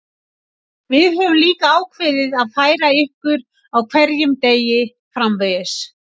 Við höfum líka ákveðið að færa ykkur á hverjum degi framvegis.